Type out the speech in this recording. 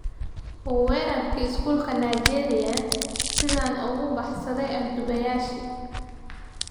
Weerarkii Iskuulka Nigeria: 'Sidaan uga baxsaday afduubayaashii'